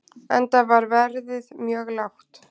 Enda var verðið mjög lágt.